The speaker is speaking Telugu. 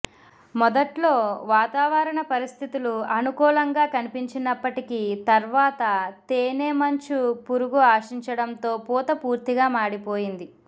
మొదట్లో వాతావరణ పరిస్థితులు అనుకూలంగా కనిపించినప్పటికీ తర్వాత తేనె మంచు పురుగు ఆశించడంతో పూత పూర్తిగా మాడిపోయింది